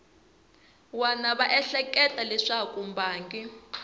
wana va ehleketa leswaku mbangi